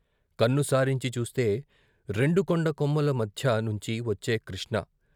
కన్ను సారించి చూస్తే రెండు కొండ కొమ్ముల మధ్య నుంచి వచ్చే కృష్ణ